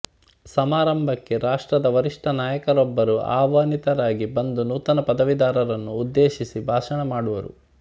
ಸಮಾರಂಭಕ್ಕೆ ರಾಷ್ಟ್ರದ ವರಿಷ್ಠ ನಾಯಕರೊಬ್ಬರು ಆಹ್ವಾನಿತರಾಗಿ ಬಂದು ನೂತನ ಪದವೀಧರರನ್ನು ಉದ್ದೇಶಿಸಿ ಭಾಷಣ ಮಾಡುವರು